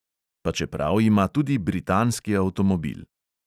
Pa čeprav ima tudi britanski avtomobil.